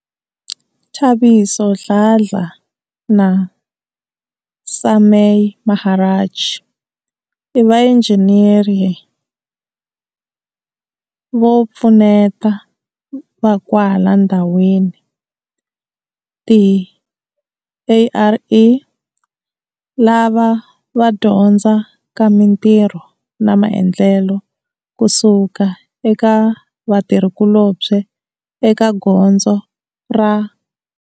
Thabiso Dladla na Sumay Maharaj i vainjhiniyere vo pfuneta va kwala va ndhawini, ti-ARE, lava va dyondzaka mitirho na maendlelo ku suka eka vatirhikulobye eka gondzo ra.